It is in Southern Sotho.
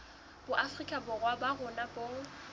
boafrika borwa ba rona bo